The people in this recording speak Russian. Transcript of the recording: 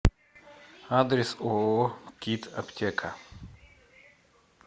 адрес ооо кит аптека